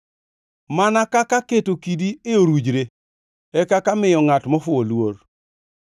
Mana kaka keto kidi e orujre e kaka miyo ngʼat mofuwo luor.